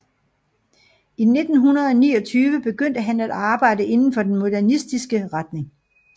I 1929 begyndte han at arbejde inden for den modernistiske retning